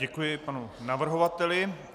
Děkuji panu navrhovateli.